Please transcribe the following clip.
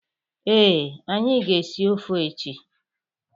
Ee, anyi ga-esi ọfe echi.